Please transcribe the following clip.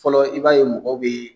Fɔlɔ i b'a ye mɔgɔw bɛ